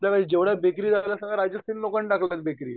आपल्याला जेवढ्या डिग्रीवाल्या राहायच्या असतीलना लोकांना दाखवता डिग्री